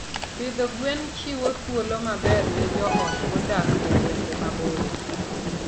Pidho gwen chiwo thuolo maber ne joot modak e gwenge maboyo.